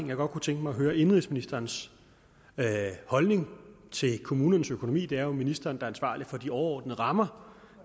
jeg godt tænke mig at høre indenrigsministerens holdning til kommunernes økonomi det er jo ministeren der er ansvarlig for de overordnede rammer